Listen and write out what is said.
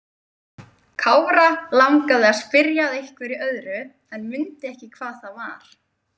Kára langaði að spyrja að einhverju öðru en mundi ekki hvað það var.